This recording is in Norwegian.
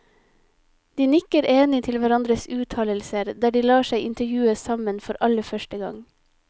De nikker enig til hverandres uttalelser, der de lar seg intervjue sammen for aller første gang.